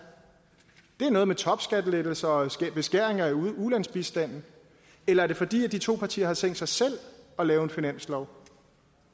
det er noget med topskattelettelser og beskæringer i ulandsbistanden eller er det fordi de to partier har tænkt sig selv at lave en finanslov